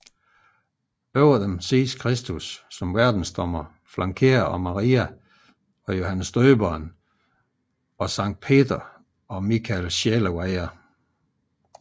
Over dem ses Kristus som Verdensdommer flankeret af Maria og Johannes Døberen samt Sankt Peter og Mikael Sjælevejer